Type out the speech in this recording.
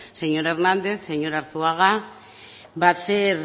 señor hernández señor arzuaga va a hacer